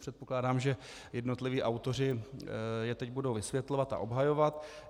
Předpokládám, že jednotliví autoři je teď budou vysvětlovat a obhajovat.